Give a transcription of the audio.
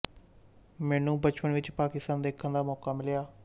ਮੈਨੂੰ ਬਚਪਨ ਵਿੱਚ ਪਾਕਿਸਤਾਨ ਦੇਖਣ ਦਾ ਮੌਕਾ ਮਿਲਿਆ